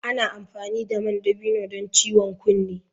Ana amfani da man dabino don ciwon kunne.